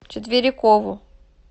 четверикову